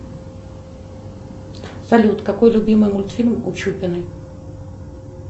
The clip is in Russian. салют какой любимый мультфильм у чупиной